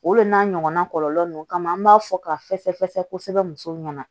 O de n'a ɲɔgɔnna kɔlɔlɔ ninnu kama an b'a fɔ ka fɛsɛfɛsɛ kosɛbɛ kosɛbɛ